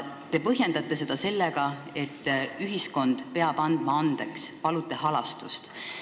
Te põhjendate seda sellega, et ühiskond peab andeks andma, te palute halastust.